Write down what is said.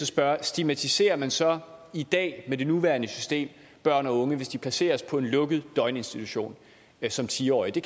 spørge stigmatiserer man så i dag med det nuværende system børn og unge hvis de placeres på en lukket døgninstitution som ti årige det